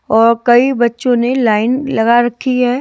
और कई बच्चों ने लाइन लगा रखी है।